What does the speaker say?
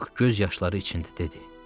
Lük göz yaşları içində dedi.